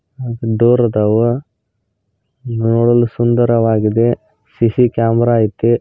door ಅದವ ನೋಡಲು ಸುಂದರವಾಗಿದೆ ಸಿ_ಸಿ ಕ್ಯಾಮೆರಾ ಐತೆ